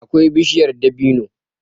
akwai bishiyar dabino.